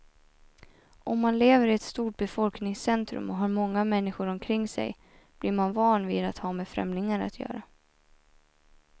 Om man lever i ett stort befolkningscentrum och har många människor omkring sig blir man van vid att ha med främlingar att göra.